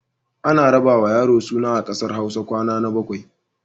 Ana raɗawa yaro suna a ƙasar Hausa kwana na bakwai.